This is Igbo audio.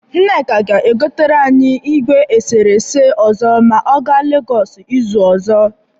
Nneka ga-egotere anyị igwe eserese ọzọ ma ọ ga Legọs izu ọzọ.